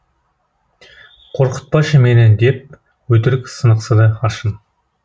қорқытпашы мені деп өтірік сынықсыды аршын